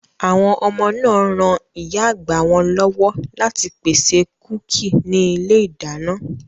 Àwọn ọmọ náà r ran ìyá àgbà wọn lọ́wọ́ láti pèsè kúkì ní ilé-ìdáná.